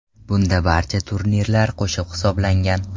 Bunda barcha turnirlar qo‘shib hisoblangan.